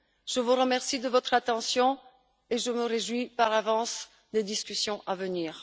Je vous remercie de votre attention et je me réjouis par avance des discussions à venir.